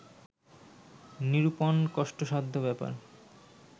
নিরূপণ কষ্টসাধ্য ব্যাপার